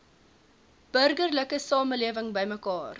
burgerlike samelewing bymekaar